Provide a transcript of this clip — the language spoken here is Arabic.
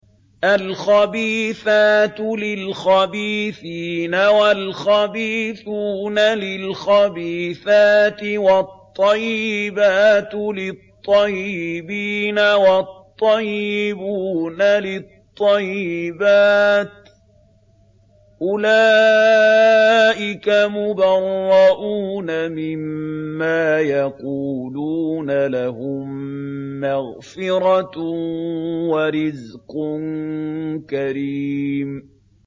الْخَبِيثَاتُ لِلْخَبِيثِينَ وَالْخَبِيثُونَ لِلْخَبِيثَاتِ ۖ وَالطَّيِّبَاتُ لِلطَّيِّبِينَ وَالطَّيِّبُونَ لِلطَّيِّبَاتِ ۚ أُولَٰئِكَ مُبَرَّءُونَ مِمَّا يَقُولُونَ ۖ لَهُم مَّغْفِرَةٌ وَرِزْقٌ كَرِيمٌ